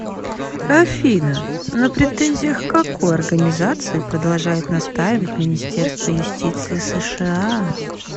афина на претензиях к какой организации продолжает настаивать министерство юстиции сша